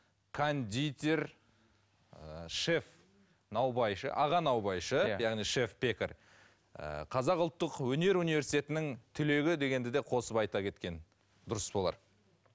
кондитер ыыы шеф наубайшы аға наубайшы иә яғни шеф пекарь ыыы қазақ ұлттық өнер университетінің түлегі дегенде де қосып айта кеткен дұрыс болар